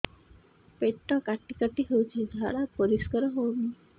ପେଟ କାଟି କାଟି ହଉଚି ଝାଡା ପରିସ୍କାର ହଉନି